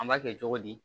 An b'a kɛ cogo di